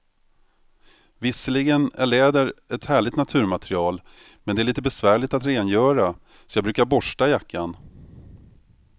Visserligen är läder ett härligt naturmaterial, men det är lite besvärligt att rengöra, så jag brukar borsta jackan.